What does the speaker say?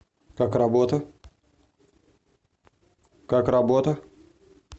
как работа как работа